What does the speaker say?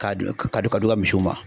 K'a d'i k'a d'i ka misiw ma.